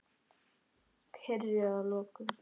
Piprið að lokum.